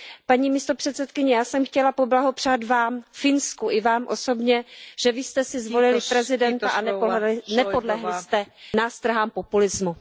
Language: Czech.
Paní místopředsedkyně, já jsem chtěla poblahopřát vám, Finsku i Vám osobně, že vy jste si zvolili prezidenta a nepodlehli jste nástrahám populismu.